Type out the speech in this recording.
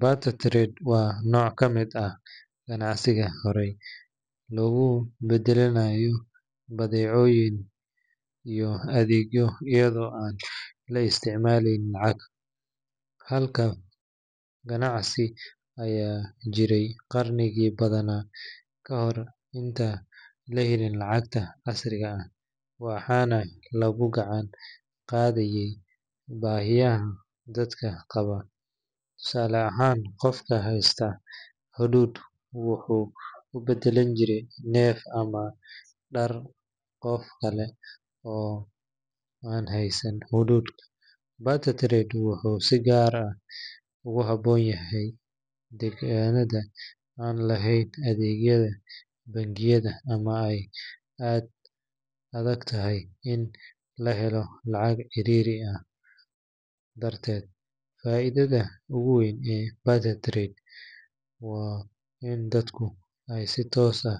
Barter trade waa noc kamiid ah ganacsiga hore lagu badalanayo badhecoyin iyo adhegyo iyaada oo an la isticmaleynin, tusala ahan nika hasta wuxuu hudud, wuxuu si gar ah darteed waxuu dadka si tos ah